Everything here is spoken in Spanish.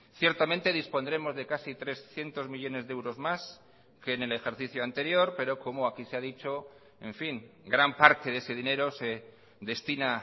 ciertamente dispondremos de casi trescientos millónes de euros más que en el ejercicio anterior pero como aquí se ha dicho en fin gran parte de ese dinero se destina